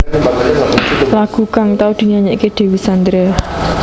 Lagu kang tau dinyanyékaké Dewi Sandra